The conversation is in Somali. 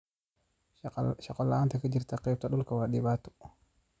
Shaqo la'aanta ka jirta qaybta dhulka waa dhibaato.